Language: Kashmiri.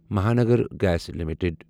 Mahanagar gas limited